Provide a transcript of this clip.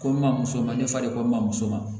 Ko n ma muso ma ne fa de ko n mamuso ma